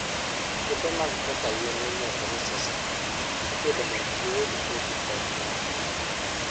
Puothe moko kaka yien miluongo ni sesame, ipidhogi mondo giyudgo kodhi kod mo.